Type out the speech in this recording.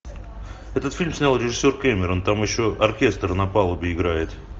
этот фильм снял режиссер кэмерон там еще оркестр на палубе играет